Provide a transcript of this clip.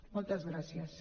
moltes gràcies